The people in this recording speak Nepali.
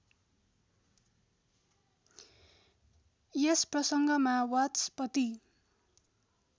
यस प्रसङ्गमा वाचस्पति